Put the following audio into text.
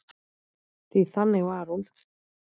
Því þannig var hún.